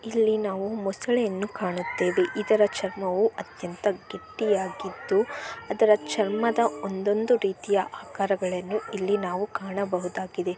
ಇಲ್ಲಿ ನಾವು ಮೊಸಳೆಯನ್ನು ಕಾಣುತ್ತೇವೆ ಮೊಸಳೆಯ ಚರ್ಮದ ಒಂದೊಂದು ರೀತಿಯ ಆಕಾರಗಳನ್ನು ಇಲ್ಲಿ ನಾವು ಕಾಣಬಹುದಾಗಿದೆ.